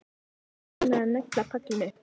Ég skal svo reyna að negla pallinn upp.